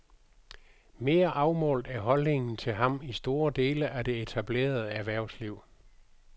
Mere afmålt er holdningen til ham i store dele af det etablerede erhvervsliv.